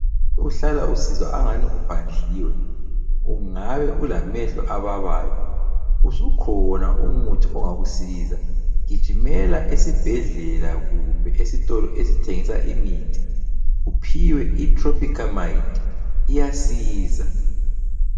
Uhlala usizwa angani uphandliwe, ungabe ulamehlo ababayo . Usukhona umuthi ongakusiza. Gijimela esibhedlela kumbe esitolo esithengisa imithi uphiwe iTropicamide iyasiza.